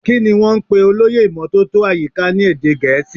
Kini wọn ń pè olóyè ìmótótó àyíká ni èdè gẹ̀ẹ́sì.